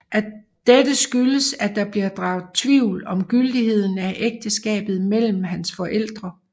Dette skyldes at der bliver draget tvivl om gyldigheden af ægteskabet mellem hans forældre